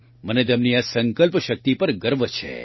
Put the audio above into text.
મને તેમની આ સંકલ્પ શક્તિ પર ગર્વ છે